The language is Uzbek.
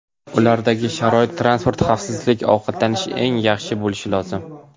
Ulardagi sharoit transport, xavfsizlik, ovqatlanish eng yaxshi bo‘lishi lozim.